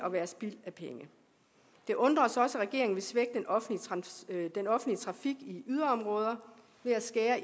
at være spild af penge det undrer os også at regeringen vil svække den offentlige trafik i yderområder ved at skære